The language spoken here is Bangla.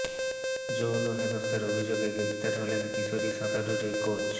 যৌন হেনস্থার অভিযোগে গ্রেফতার হলেন কিশোরী সাঁতারুর এই কোচ